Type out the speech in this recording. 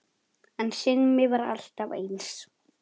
En Simmi var alltaf eins.